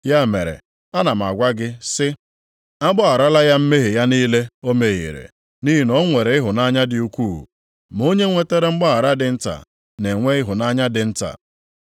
Ya mere, ana m agwa gị sị, a gbagharala ya mmehie ya niile o mehiere, nʼihi na ọ nwere ịhụnanya dị ukwuu. Ma onye nwetara mgbaghara dị nta, na-enwe ịhụnanya dị nta.”